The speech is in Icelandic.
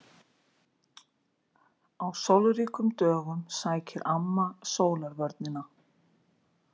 Á sólríkum dögum sækir amma sólarvörnina.